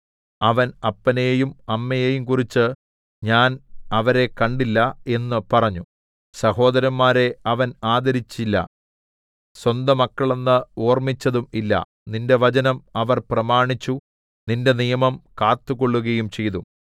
അവൻ അപ്പനെയും അമ്മയെയും കുറിച്ച് ഞാൻ അവരെ കണ്ടില്ല എന്നു പറഞ്ഞു സഹോദരന്മാരെ അവൻ ആദരിച്ചില്ല സ്വന്തമക്കളെന്ന് ഓർമിച്ചതു ഇല്ല നിന്റെ വചനം അവർ പ്രമാണിച്ചു നിന്റെ നിയമം കാത്തുകൊള്ളുകയും ചെയ്തു